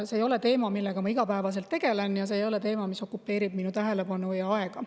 See ei ole teema, millega ma igapäevaselt tegelen, ja see ei ole teema, mis okupeerib minu tähelepanu ja aega.